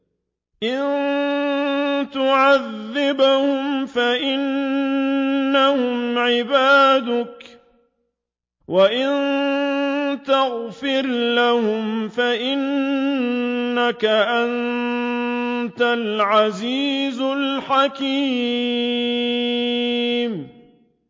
إِن تُعَذِّبْهُمْ فَإِنَّهُمْ عِبَادُكَ ۖ وَإِن تَغْفِرْ لَهُمْ فَإِنَّكَ أَنتَ الْعَزِيزُ الْحَكِيمُ